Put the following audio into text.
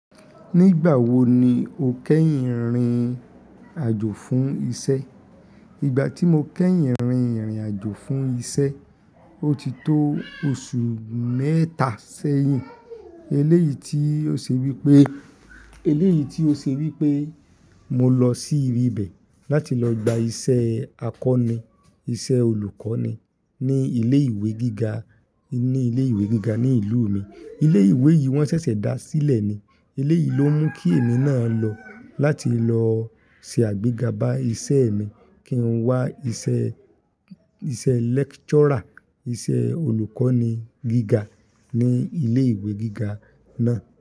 Nígbà wo ni o kẹ́yìn rìnrìn àjò fún iṣẹ́? Ìgbà tí mo kẹ́yìn rìnrìn àjò fún iṣẹ́, ó ti tó oṣù mẹ́ta sẹ́yìn. Eléyìí tí ó ṣe wípé, eléyìí tí ó ṣe wípé mo lọ sí ibi bẹ̀ láti lọ gba iṣẹ́ akọni, iṣẹ́ olùkọ́ni ní ilé ìwé gíga, ní ilé ìwé gíga ní ìlú mi. Ilé ìwé yìí wọ́n ṣẹ̀ṣẹ̀ dá sílẹ̀ ni. Eléyìí ló mú kí èmi náà lọ láti lọ se àgbéga bá iṣẹ́ mi kí n wá iṣẹ́, iṣẹ́ lecturer, iṣẹ́ olùkọ́ni gíga ní ilé ìwé gíga náà.